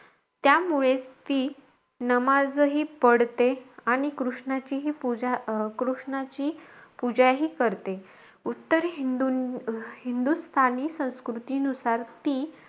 त्यामुळेचं ती नामजही पढते. आणि कृष्णाचीही पूजा अं कृष्णाची पूजाही करते. उत्तर हिंदु हिंदुस्थानी संस्कृतीनुसार ती,